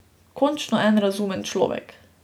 Končno en razumen človek.